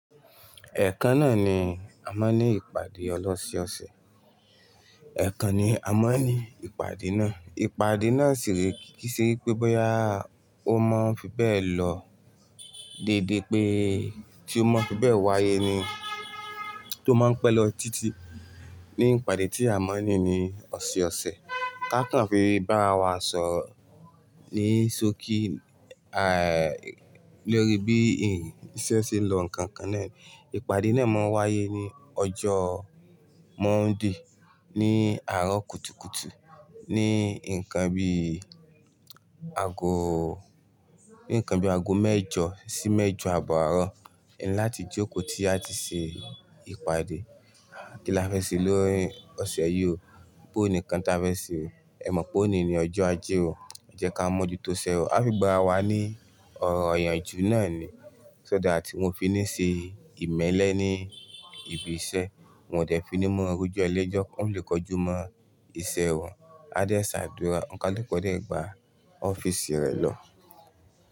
Ẹ̀ẹ̀kan náà ni a máa ń ní ìpàdé ọlọ́ ṣe ọ̀sẹ̀. Ẹ̀ẹ̀kan ni a máa ń ní ìpàdé náà. Ìpàdé náà sì re kí sí wípé bóyá ó máa ń fi bẹ́ẹ̀ lọ déédé pé tí ó máa ń fi bẹ́ẹ̀ wáyé ni tó máa ń pẹ́ lọ títí ní ìpàdé tí a máa ń ní ní ọ̀sẹ̀ ọ̀sẹ̀. Ká kàn fi bá ara wa sọro ní sókí lórí bí iṣẹ́ ṣe n lọ nǹkan nkan náà ni. Ìpàdé náà máa ń wáyé ní ọjọ́ Monday ní àárọ̀ kùtùkùtù ní ǹkan bí i ago, ní ǹkan bí i ago mẹ́jọ sí mẹ́jọ abọ́ àárọ̀. Ẹ ni láti jókòó tí a ti ṣe ìpàdé, kí la fẹ́ ṣe nií ọ̀sẹ̀ yìí o, bò ní nkan tí a fẹ́ ṣe o. Ẹ mọ̀ pé òní ni ọjọ́ ajé o, ẹ jẹ́ ká mọ̀ ju tó isẹ wa. A fi gbà ara wá ní ọ̀rọ̀ ìyànjú náà ni. So dá tí kọ fi ní ṣe ìmẹ́lẹ́ ní ibi iṣẹ́, wọn ò dẹ́ fi ní mọ́ ro ejo ẹlẹ́jọ́, wọn ò lè kojú mọ́ ìṣe wọn. A dẹ ṣàdúrà, ọ̀n kàluku o dẹ gbà ọ́fíìsì rẹ̀ lọ.